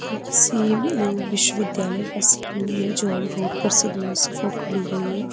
ये किसी उम्म विश्वविद्यालय का सीन है जो रोड पर से दूर से फोटो ली गई है।